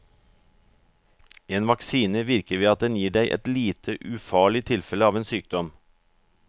En vaksine virker ved at den gir deg et lite, ufarlig tilfelle av en sykdom.